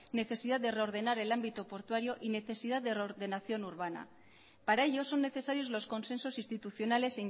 necesidad de reordenar el ámbito portuario y necesidad de reordenación urbana para ello son necesarios los consensos institucionales